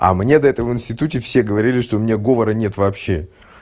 а мне до этого институте все говорили что у меня говоря нет вообще